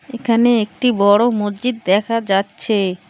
এখানে একটি বড় মসজিদ দেখা যাচ্ছে।